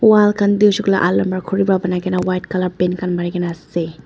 wall khan tu hoi shey koi le pra banai kene white colour paint khan mari kene ase.